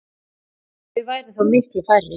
Þau væru þá miklu færri.